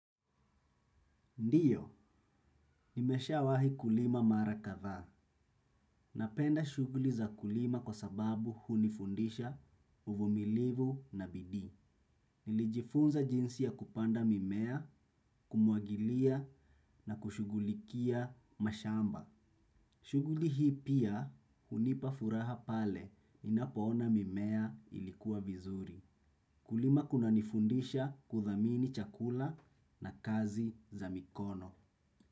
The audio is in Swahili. Ndiyo nimesha wahi kulima mara kadhaa. Napenda shughuli za kulima kwa sababu hunifundisha uvumilivu na bidii. Nilijifunza jinsi ya kupanda mimea kumwagilia na kushughulikia mashamba. Shughuli hii pia hunipa furaha pale ninapo ona mimea ilikua vizuri. Kulima kunanifundisha kuthamini chakula na kazi za mikono.